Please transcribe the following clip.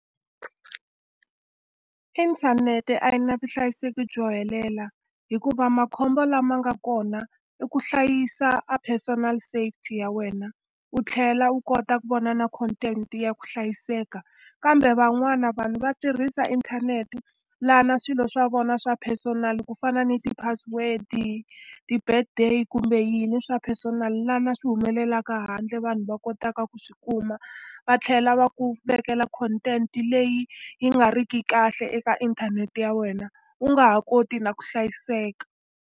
Inthanete a yi na vuhlayiseki byo helela, hikuva makhombo lama nga kona i ku hlayisa a personal safety ya wena, u tlhela u kota ku vona na content ya ku hlayiseka. Kambe van'wana vanhu va tirhisa inthanete laha swilo swa vona swa personal ku fana ni ti-password-i, ti-birthday kumbe yini swa personal, laha swi humelaka handle vanhu va kotaka ku swi kuma. Va tlhela va ku vekela content leyi yi nga ri ki kahle eka inthanete ya wena, u nga ha koti na ku hlayiseka.